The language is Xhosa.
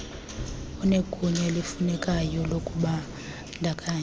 onegunya elifunekayo lokubandakanya